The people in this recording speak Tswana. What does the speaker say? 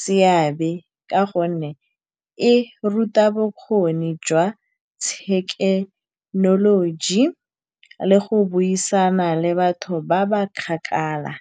seabe, ka gonne e ruta bokgoni jwa thekenoloji le go buisana le batho ba ba kgakala.